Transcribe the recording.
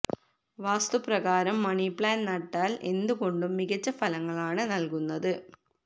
വാസ്തു പ്രകാരം money plant നട്ടാല് എന്തുകൊണ്ടും മികച്ച ഫലങ്ങളാണ് നല്കുന്നത്